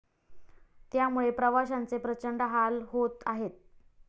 त्यामुळेप्रवाशांचे प्रचंड हाल होत आहेत.